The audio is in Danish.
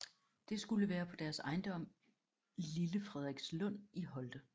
Det skulle være på deres ejendom Lille Frederikslund i Holte